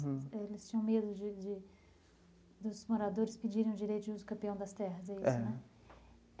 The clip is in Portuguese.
Eles tinham medo de de dos moradores pedirem o direito de usucapião das terras, é isso, né?